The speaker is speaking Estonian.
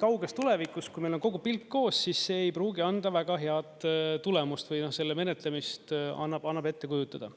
kauges tulevikus, kui meil on kogu pilt koos, siis see ei pruugi anda väga head tulemust või selle menetlemist annab ette kujutada.